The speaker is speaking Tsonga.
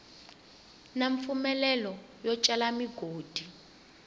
na mpfumelelo yo cela migodi